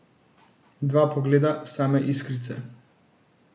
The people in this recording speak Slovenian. Dva pogleda, same iskrice.